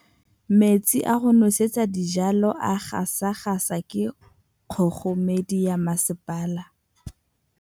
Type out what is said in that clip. Metsi a go nosetsa dijalo a gasa gasa ke kgogomedi ya masepala.